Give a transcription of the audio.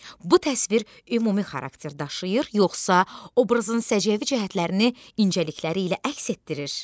Bu təsvir ümumi xarakter daşıyır, yoxsa obrazın səciyyəvi cəhətlərini incəlikləri ilə əks etdirir?